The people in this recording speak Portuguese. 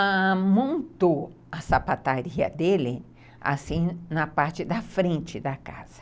Ãh... E montou a sapataria dele assim, na parte da frente da casa.